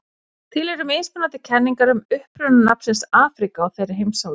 Til eru mismunandi kenningar um uppruna nafnsins Afríka á þeirri heimsálfu.